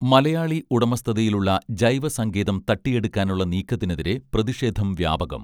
മലയാളി ഉടമസ്ഥതയിലുള്ള ജൈവസങ്കേതം തട്ടിയെടുക്കാനുള്ള നീക്കത്തിനെതിരെ പ്രതിഷേധം വ്യാപകം